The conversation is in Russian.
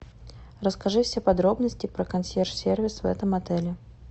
расскажи все подробности про консьерж сервис в этом отеле